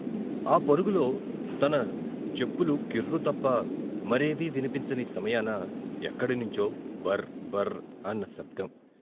ఆ పరుగులో తన చెప్పులు కిర్రు తప్ప మరేవీ వినిపించని సమయాస, ఎక్కడి నుంచో "బర్ బర్" అన్న శబ్దం.